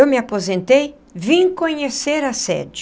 Eu me aposentei, vim conhecer a sede.